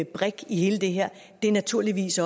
brik i hele det her er naturligvis